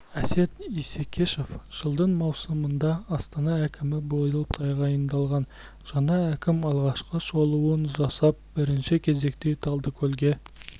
әсет исекешев жылдың маусымында астана әкімі болып тағайындалған жаңа әкім алғашқы шолуын жасап бірінші кезекте талдыкөлге